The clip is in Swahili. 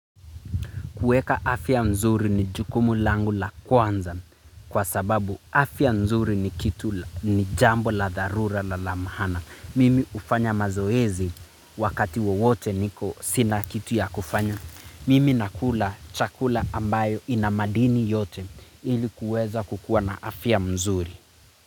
Kueka afia mzuri ni jukumu langu la kwanza kwa sababu afia nzuri ni kitu ni jambo la dharula na la maana. Mimi ufanya mazoezi wakati wowote niko sina kitu ya kufanya. Mimi nakula chakula ambayo inamadini yote ilikuweza kukuwa na afia mzuri.